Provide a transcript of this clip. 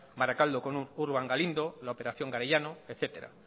bakaraldo con urban galindo operación garellano etcétera